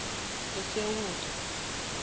esewula